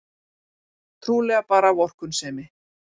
Trúlega bara vorkunnsemi.